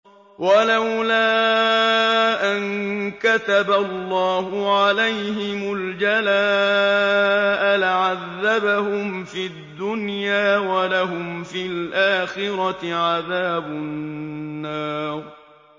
وَلَوْلَا أَن كَتَبَ اللَّهُ عَلَيْهِمُ الْجَلَاءَ لَعَذَّبَهُمْ فِي الدُّنْيَا ۖ وَلَهُمْ فِي الْآخِرَةِ عَذَابُ النَّارِ